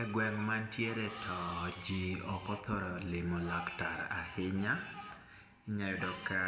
Egweng' ma antiere to ji ok othoro limo laktar ahinya, iyudo ka